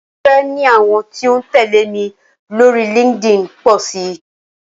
Mo fẹ́ ní àwọn tí ó ń tẹ̀lé mi lórí Linkedin pọ̀ sí.